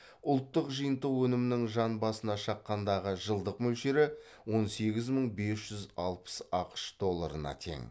ұлттық жиынтық өнімнің жан басына шаққандағы жылдық мөлшері он сегіз мың бес жүз алпыс ақш долларына тең